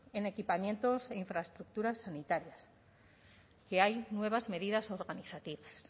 en equipamientos e infraestructuras sanitarias que hay nuevas medidas organizativas